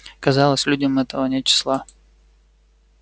казалось людям этого нет числа